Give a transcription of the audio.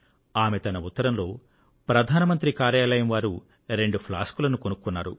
ఆమె తన ఉత్తరంలో ప్రధాన మంత్రి కార్యాలయం వారు రెండు ఫ్లాస్క్ లను కొనుక్కున్నారు